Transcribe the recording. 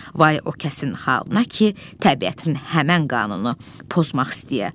Vay o kəsin halına ki, təbiətin həmən qanunu pozmaq istəyə.